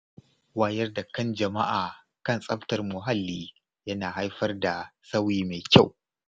Wayar da kan jama’a kan tsaftar muhalli yana haifar da sauyi mai kyau.